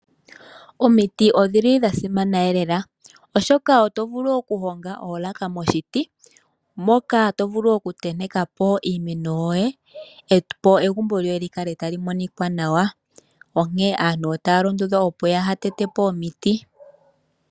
Omiti odha simana noonkondo molwaashoka oto vulu okuhonga oolaka moshiti, mpoka to vulu okutenteka po iimeno yoye opo egumbo lyoye li kale tali monika nawa onkene aantu otaya londodhwa opo kaaya tete po omiti.